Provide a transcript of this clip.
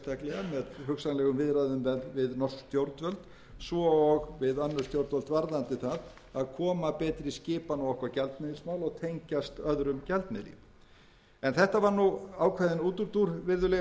með hugsanlegum viðræðum við norsk stjórnvöld svo og við önnur stjórnvöld varðandi það að koma betri skipan á okkar gjaldmiðilsmál og tengjast öðrum gjaldmiðli þetta var ákveðinn útúrdúr virðulegi